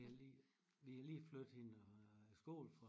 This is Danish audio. Vi har lige vi har lige flyttet hende og skole